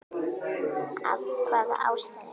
Af hvaða ástæðu?